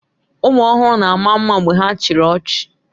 Ụmụ ọhụrụ na-ama mma mgbe ha chịrị ọchị